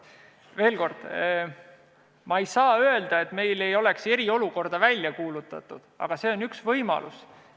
Veel kord, ma ei saa öelda, et me poleks eriolukorda välja kuulutanud, aga see on üks võimalus.